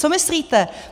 Co myslíte?